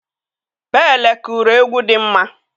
Pele kụrụ egwu dị mma.